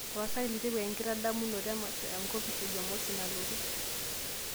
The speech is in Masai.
tapasali tipika enkitadamunoto emasho enkopis jumamosi nalotu